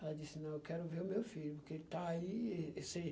Ela disse, não, eu quero ver o meu filho, porque ele está aí. E disse